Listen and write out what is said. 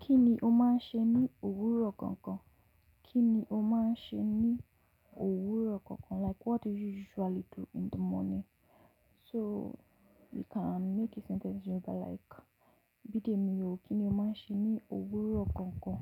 Kí ni o máa ń ṣe ní òwúrọ̀ kankan? Kí ni o máa ń ṣe ní òwúrọ̀ kankan? Like what do you usually do in the morning? So you can make a sentence in Yoruba like, bidemi o, kí ni o máa ń ṣe ní òwúrọ̀ kankan?